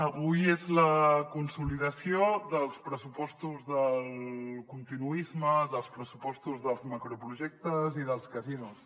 avui és la consolidació dels pressupostos del continuisme dels pressupostos dels macroprojectes i dels casinos